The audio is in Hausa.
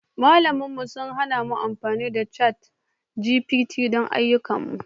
Malaman mu sun hana mu amfani da ChatGPT don ayyukanmu